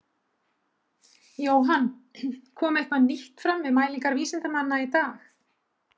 Jóhann, kom eitthvað nýtt fram við mælingar vísindamanna í dag?